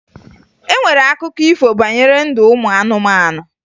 E nwere akụkọ ifo banyere ndụ ụmụ anụmanụ